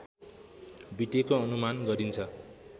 बितेको अनुमान गरिन्छ